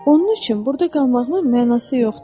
Onun üçün burda qalmağımın mənası yoxdur.